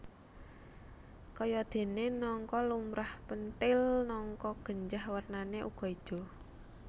Kayadéné nangka lumrah pentil nangka genjah wernané uga ijo